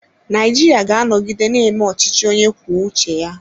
Naijiria ga-anọgide na-eme ọchịchị onye kwuo uche ya.